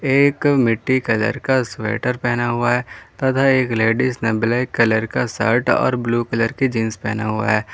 एक मिटी कलर का स्वेटर पहना हुआ है तथा एक लेडीज ने ब्लैक कलर का शर्ट और ब्ल्यू कलर की जींस पहना हुआ है।